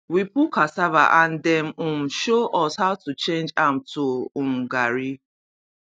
we pull cassava and dem um show us how to change am to um garri